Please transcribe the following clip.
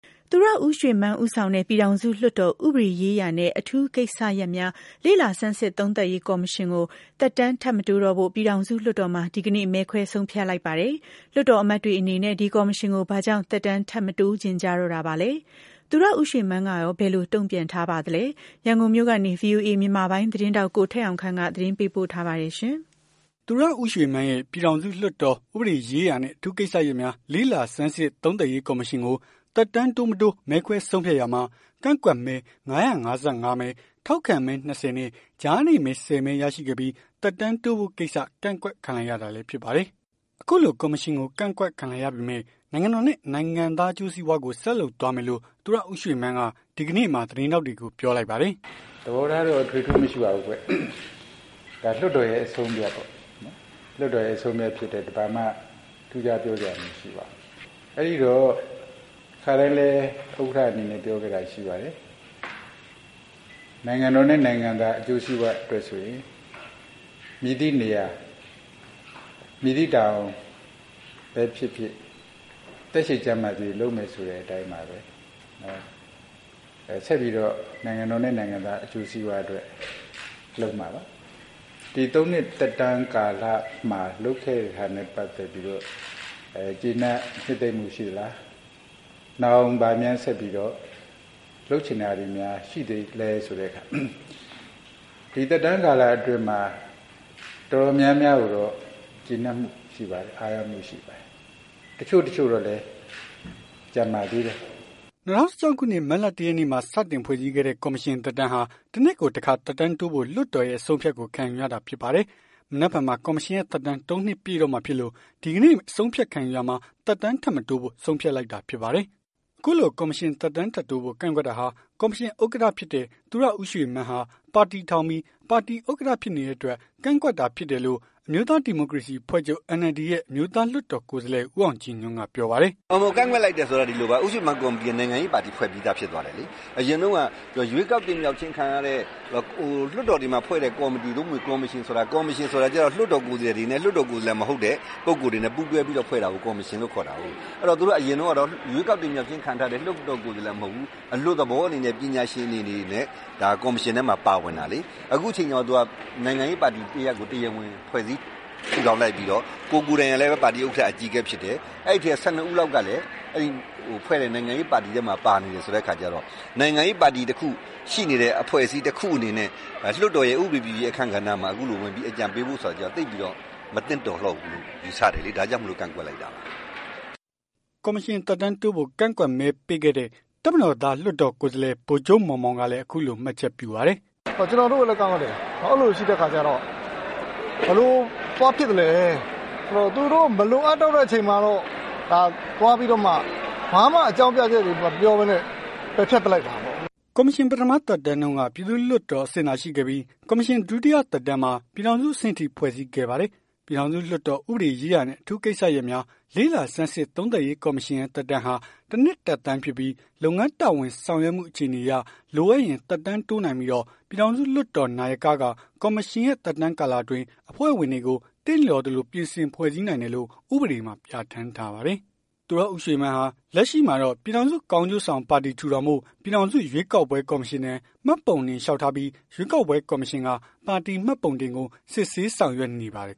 သူရဦးရွှေမန်းဦးဆောင်တဲ့ ပြည်ထောင်စု လွှတ်တော် ဥပဒေရေးရာနဲ့ အထူးကိစ္စရပ်များ လေ့လာ ဆန်းစစ် သုံးသပ်ရေး ကော်မရှင်ကို သက်တမ်း ထပ်မတိုးတော့ဖို့ ပြည်ထောင်စုလွှတ်တော်မှာ ဒီကနေ့ မဲခွဲ ဆုံးဖြတ်လိုက်ပါတယ်။ လွှတ်တော်အမတ်တွေ အနေနဲ့ ဒီကော်မရှင်ကို ဘာကြောင့် သက်တမ်း ထပ် မတိုးချင်ကြ တော့တာပါလဲ။ သူရဦးရွှေမန်းကရော ဘယ်လို တုံ့ပြန်ထားသလဲ။ ရန်ကုန်မြို့ကနေ ဗွီအိုအေ မြန်မာပိုင်းသတင်းထောက် ကိုထက်အောင်ခန့်က သတင်းပေးပို့ထားပါတယ်။ သူရဦးရွှေမန်းရဲ့ ပြည်ထောင်စုလွှတ်တော် ဥပဒေရေးရာနဲ့ အထူးကိစ္စရပ်များ လေ့လာ ဆန်းစစ် သုံးသပ်ရေး ကော်မရှင်ကို သက်တမ်းတိုး မတိုး မဲခွဲဆုံးဖြတ်ရာမှာ ကန့်ကွက်မဲ ၅၅၅ မဲ ထောက်ခံမဲ ၂၀ နဲ့ ကြားနေမဲ ၁၀ မဲ ရရှိခဲ့ပြီး သက်တမ်းတိုးဖို့ကိစ္စ ကန့်ကွက် ခံလိုက်ရတာလည်း ဖြစ်ပါတယ်။ အခုလို ကော်မရှင်ကို ကန့်ကွက်ခံလိုက်ရပေမယ့် နိုင်ငံတော်နဲ့ နိုင်ငံသားအကျိုးစီးပွားကို ဆက်လုပ်သွားမယ်လို့ သူရဦးရွှေမန်းက ဒီကနေ့မှာ သတင်းထောက်တွေကို ပြောလိုက်ပါတယ်။ "သဘောထားတော့ အထွေအထူးမရှိပါဘူး။ ဒါ လွှတ်တော်ရဲ့ အဆုံးအဖြတ်ပေါ့။ လွှတ်တော် ရဲ့ အဆုံးအဖြတ် ဖြစ်တော့ ဘာမှ ထူးထူးခြားခြား ပြောစရာမရှိပါဘူး။ အဲ့ဒီတော့ ခါတိုင်းလည်း ဥက္ကဌ အနေနဲ့ပြောနေတာလည်း ရှိပါတယ်။ နိုင်ငံတော်နဲ့ နိုင်ငံသားတွေရဲ့ အကျိုးစီးပွားအတွက်ဆိုရင် မည်သည့်နေရာ မည်သည့်တာဝန်ပဲဖြစ်ဖြစ် သက်ရှည်ကျန်းမာသရွေ့ လုပ်မယ်ဆိုတဲ့အတိုင်းပါပဲ။ ဆက်ပြီးတော့ နိုင်ငံတော်နဲ့ နိုင်ငံသား အကျိုးစီးပွား လုပ်မှာပါ။ ဒီ ၃ နှစ်သက်တမ်းကာလမှာ လုပ်ခဲ့တဲ့ဟာနဲ့ ပတ်သက်ပြီးတော့ ကျေနပ် နှစ်သိမ့်မှုရှိလား နောက်ဘာများ လုပ်ချင်တာတွေ ရှိသေးလည်း ဆိုတဲ့အခါကျတော့ ဒီသက်တမ်း ကာလအတွင်းမှာ တော်တော်များများ ကိုတော့ ကျေနပ်မှုရှိပါတယ်။ အားရမှုရှိပါတယ်။ တချို့တချို့တော့လည်း ကျန်ပါသေး တယ်။" ၂၀၁၆ ခုနှစ် မတ်လ ၁ ရက်နေ့မှာ စတင်ဖွဲ့စည်းခဲ့တဲ့ ကော်မရှင်သက်တမ်းဟာ ၁ နှစ်ကို တခါ သက်တမ်းတိုးဖို့ လွှတ်တော်ရဲ့ အဆုံးအဖြတ်ကို ခံယူရတာဖြစ်ပါတယ်။ မနက်ဖြန်မှာ ကော်မရှင် သက်တမ်း ၃ နှစ်ပြည့်တော့မှာ ဖြစ်လို့ ဒီကနေ့ အဆုံးအဖြတ် ခံယူရာမှာ သက်တမ်း ထပ်မတိုးဖို့ ဆုံးဖြတ်လိုက်တာဖြစ်ပါတယ်။ အခုလို ကော်မရှင် သက်တမ်းတိုးဖို့ ကန့်ကွက်တာဟာ ကော်မရှင် ဥက္ကဌ ဖြစ်တဲ့ သူရဦးရွှေမန်းဟာ ပါတီထောင် ပြီး ပါတီ ဥက္ကဌဖြစ်နေတဲ့အတွက် ကန့်ကွက်တာ ဖြစ်တယ်လို့ အမျိုးသား ဒီမိုကရေစီအဖွဲ့ချုပ် NLD ရဲ့ အမျိုးသား လွှတ်တော် ကိုယ်စားလှယ် ဦးအောင်ကြည်ညွှန့်က ပြောပါတယ်။ "ကန့်ကွက်လိုက်တယ် ဆိုတာက ဒီလိုပါ ဦးရွှေမန်း ကော်မတီက နိုင်ငံရေး ပါတီ ဖွဲ့ပြီးသား ဖြစ်သွားတယ်လေ။ အရင်တုန်းက ရွေးကောက်တင်မြှောက်ခြင်းခံရတဲ့ လွှတ်တော်တွေမှာ ဖွဲ့တဲ့ ကော်မတီ သို့မဟုတ် ကော်မရှင် ဆိုတာ လွှတ်တော် ကိုယ်စားလှယ်တွေနဲ့ လွှတ်တော်ကိုယ်စားလှယ် မဟုတ်တဲ့ ပုဂ္ဂိုလ်တွေနဲ့ ပူးတွဲပြီး ဖွဲ့တာကို ကော်မရှင်လို့ခေါ်တာကို အဲ့တော့ အရင်တုန်းကတော့ သူတို့က ရွေးကောက်တင်မြှောက်ခြင်း ခံထားရတဲ့ လွှတ်တော် ကိုယ်စားလှယ် မဟုတ်ဘူး။ အလွတ်သဘောအနေ နဲ့ ပညာရှင်အနေနဲ့ ဒါကော်မရှင်ထဲမှာ ပါဝင်တာ။ အခုချိန် ကြတော့ နိုင်ငံရေးပါတီတရပ်ကို တရားဝင် ဖွဲ့စည်းထူထောင်လိုက်ပြီးတော့ ကိုယ် ကိုယ်တိုင် ကလည်း ပါတီ ဥက္ကဌ အကြီးအကဲဖြစ်တယ်။ အဲ့ထဲက ၁၂ ဦးလောက် ကလည်း ဖွဲ့တဲ့ နိုင်ငံရေးပါတီထဲမှာ ပါနေတယ် ဆိုတဲ့အခါကျတော့ နိုင်ငံရေးပါတီရှိနေတဲ့ အဖွဲ့အစည်း တခုအနေနဲ့ လွှတ်တော်ရဲ့ ဥပဒေပြုရေး အခန်းကဏ္ဍမှာ အခုလိုဝင်ပြီး အကြံပေးဖို့ ဆိုတာကြတော့ သိပ်ပြီးတော့ မသင့်တော်တော့ဘူးလို့ ယူဆတယ်လေ။ ဒါကြောင့်မို့ ကန့်ကွက်ခဲ့တာပါ။" ကော်မရှင် သက်တမ်းတိုးဖို့ ကန့်ကွက်မဲပေးခဲ့တဲ့ တပ်မတော်သား လွှတ်တော် ကိုယ်စားလှယ် ဗိုလ်ချုပ် မောင်မောင်ကလည်း အခုလို မှတ်ချက်ပြုပါတယ်။ "ကျွန်တော်တို့လည်း ကန့်ကွက်တယ်။ အဲ့လိုတွေရှိတဲ့အခါကျ ကျတော့ ဘယ်လို သွားဖြစ်လည်းဆိုတော့ သူတို့ မလိုအပ်တော့ တဲ့အချိန်မှာတော့ သွားပြီးတော့မှ ဘာမှ အကြောင်းပြချက်တွေ မပြောဘဲ ပယ်ဖျက်လိုက်တာပေါ့။" ကော်မရှင် ပထမသက်တမ်းတုန်းက ပြည်သူ့လွှတ်တော် အဆင့်သာရှိခဲ့ပြီး ကော်မရှင် ဒုတိယသက်တမ်းမှာ ပြည်ထောင်စု အဆင့်ထိ ဖွဲ့စည်းခဲ့ပါတယ်။ ပြည်ထောင်စု လွှတ်တော် ဥပဒေရေးရာနဲ့ အထူးကိစ္စရပ်များ လေ့လာ ဆန်းစစ် သုံးသပ်ရေး ကော်မရှင်ရဲ့ သက်တမ်းဟာ တစ်နှစ်သက်တမ်းဖြစ်ပြီး လုပ်ငန်းတာဝန် ဆောင်ရွက်မှု အခြေအနေအရ လိုအပ်ရင် သက်တမ်းတိုးနိုင်ပြီးတော့ ပြည်ထောင်စုလွှတ်တော် နာယက က ကော်မရှင်ရဲ့ သက်တမ်း ကာလအတွင်း အဖွဲ့ဝင်တွေကို သင့်လျော်သလို ပြင်ဆင် ဖွဲ့စည်းနိုင်တယ်လို့ ဥပဒေမှာ ပြဌာန်းထားပါတယ်။ သူရဦးရွှေမန်းဟာ လက်ရှိမှာတော့ ပြည်ထောင်စု ကောင်းကျိုးဆောင်ပါတီ ထူထောင်ဖို့ ပြည်ထောင်စု ရွေးကောက်ပွဲ ကော်မရှင်ထံ မှတ်ပုံတင် လျောက်ထားပြီး ရွေးကောက်ပွဲကော်မရှင်က ပါတီမှတ်ပုံတင်ကို စစ်ဆေး ဆောင်ရွက်နေပါတယ်